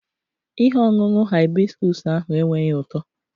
Ihe ọṅụṅụ hibiscus ahụ enweghị ụtọ